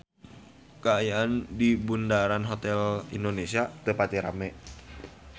Kaayaan di Bundaran Hotel Indonesia teu pati rame